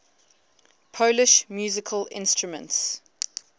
polish musical instruments